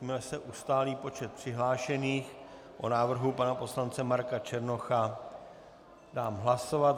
Jakmile se ustálí počet přihlášených, o návrhu pana poslance Marka Černocha dám hlasovat.